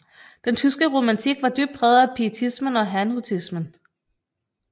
Den tyske romantik var dybt præget af pietismen og herrnhutismen